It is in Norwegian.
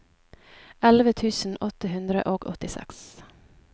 elleve tusen åtte hundre og åttiseks